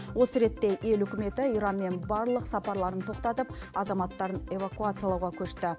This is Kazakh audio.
осы ретте ел үкіметі иранмен барлық сапарларын тоқтатып азаматтарын эвакуациялауға көшті